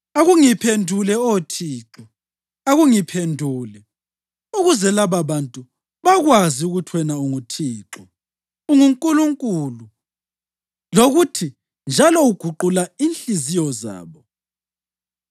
Akungiphendule Oh Thixo, akungiphendule ukuze lababantu bakwazi ukuthi wena Thixo, unguNkulunkulu, lokuthi njalo uguqula inhliziyo zabo.”